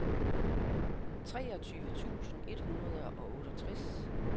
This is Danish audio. treogtyve tusind et hundrede og otteogtres